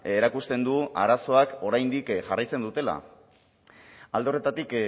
erakusten du arazoek oraindik jarraitzen dutela alde horretatik